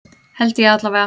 Held ég allavega.